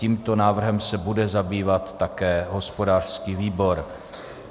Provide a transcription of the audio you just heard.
Tímto návrhem se bude zabývat také hospodářský výbor.